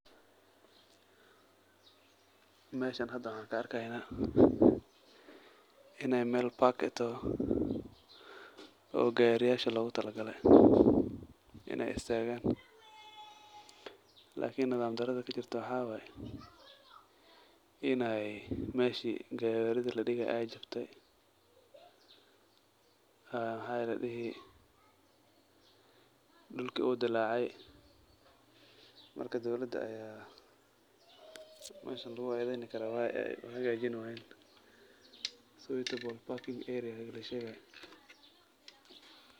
Meshan hada waxan ka arkeynaya inay Mel park eh toho ,oo gaariyasha logu tala gaale inay istagan lakin nadam darada kajirto aya waxay tahay inay meshi gaawaridi ladhigay ay jabte maxa ladhihi, dhulki uu dilaacay marka dowlada aya meshan lugu edeyni karaa ayaka aya hagajini wayen so itakuwa parking area lashegay